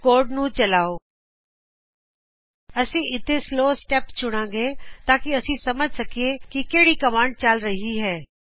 ਹੁਣ ਕੋਡ ਨੂੰ ਚਲਾਓ ਅਸੀ ਇੱਥੇ ਸਲੋ ਸਟੈਪ ਚੁਣਾਗੇ ਤਾਂ ਕਿ ਅਸੀ ਸਮਝ ਸਕੀਏ ਕਿ ਕਿਹੜੀ ਕਮਾਂਡ ਚਲ ਰਹੀ ਹੈ